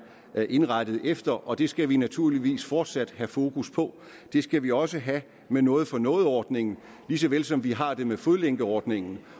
er indrettet efter og det skal vi naturligvis fortsat have fokus på det skal vi også have med noget for noget ordningen lige så vel som vi har det med fodlænkeordningen